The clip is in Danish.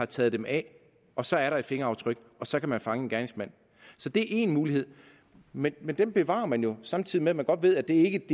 taget dem af og så er der et fingeraftryk og så kan man fange en gerningsmand så det er en mulighed men men den bevarer man jo samtidig med at man godt ved at det ikke